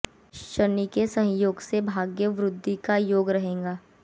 शनि के सहयोग से भाग्य वृद्धि का योग रहेगा